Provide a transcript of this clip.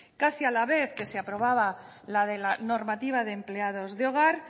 casi a la vez que se aprobaba la de la normativa de empleados de hogar